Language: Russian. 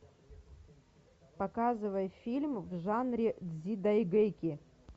показывай фильм в жанре дзидайгэки